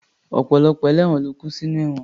Ọ̀pọ̀lọpọ̀ ẹlẹ́won ló kú sinú ẹ̀wọ̀n